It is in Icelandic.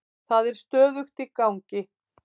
Það er stöðugt í gangi.